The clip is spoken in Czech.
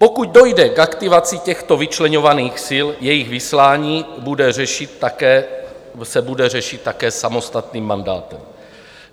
Pokud dojde k aktivaci těchto vyčleňovaných sil, jejich vyslání se bude řešit také samostatným mandátem.